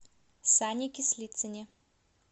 сане кислицыне